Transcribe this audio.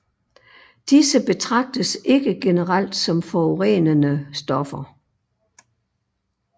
Disse betragtes ikke generelt som forurenende stoffer